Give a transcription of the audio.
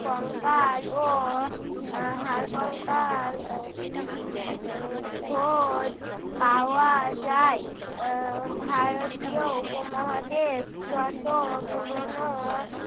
কঙ্কাল ও আহ হাড় কঙ্কাল আহ আহ খোঁজ পাওয়া যায়। আহ ভারতীয় উপমহাদেশ যত পুরোনো